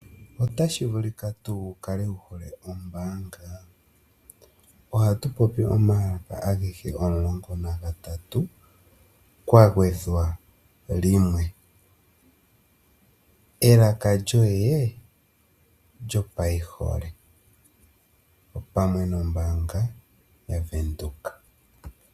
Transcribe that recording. Otashi vulika tu wukale wukale wuhole ombaanga? Ohatupopi omalaka agehe omulongo nagatatu kwagwedhwa limwe. Elaka lyoye lyopaihole.